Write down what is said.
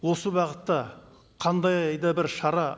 осы бағытта қандай да бір шара